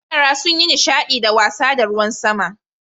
Yara sun yi nishadi da wasa da ruwan sama.